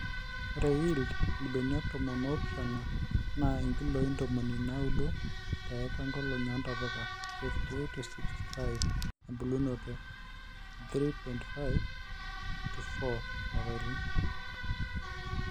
white yield: irbenia tomon oo pishana NAA inkiloe intomoni nauudo te eika inkolongi oontapuka: 58-65 ebulunoto:3. 5-4 ilapaitin